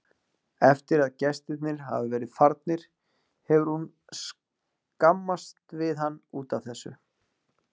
Eftir að gestirnir hafa verið farnir hefur hún skammast við hann út af þessu.